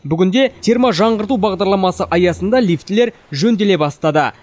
бүгінде терможаңғырту бағдарламасы аясында лифтілер жөнделе бастады